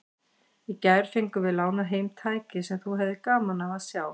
Í gær fengum við lánað heim tæki sem þú hefðir gaman af að sjá.